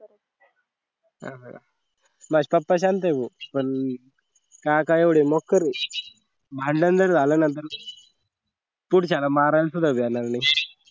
माझे पप्पा शांत आहे भो पण काका एवढे मोकार आहे भांडण जर झालं ना जरा पुढच्याला मारायला सुद्धा भियानार नाही